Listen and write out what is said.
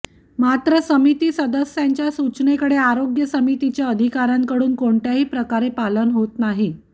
मात्र समिती सदस्यांच्या सूचनेकडे आरोग्य समितीच्या अधिकार्यांकडून कोणत्याही प्रकारे पालन होत नाही